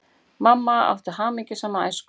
Mamma átti hamingjusama æsku.